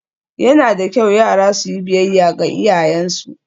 Yana da kyau yara su yi biyayya ga iyayensu